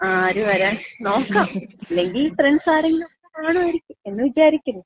ആര് വരാൻ? നോക്കാം. ഇല്ലെങ്കി ഫ്രണ്ട്സ് ആരെങ്കിലുമൊക്ക കാണുവായിരിക്കും എന്ന് വിചാരിക്കുന്നു.